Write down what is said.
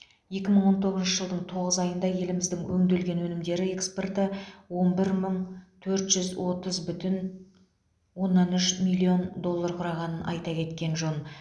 екі мың он тоғызыншы жылдың тоғыз айында еліміздің өңделген өнімдері экспорты он бір мың төрт жүз отыз бүтін оннан үш миллион доллар құрағанын айта кеткен жөн